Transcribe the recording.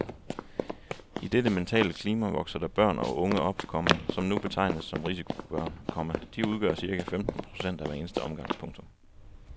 I dette mentale klima vokser der børn og unge op, komma som nu betegnes som risikobørn, komma de udgør cirka femten procent af hver eneste årgang. punktum